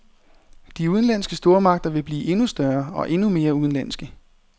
De udenlandske stormagter vil blive endnu større og endnu mere udenlandske.